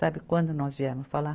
Sabe quando nós viemos falar?